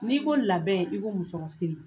N'i ko labɛn i ko musɔrɔ siri